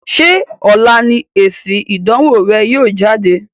Ṣé ọ̀la ni èsìn ìdánwò rẹ yìí ó jáde?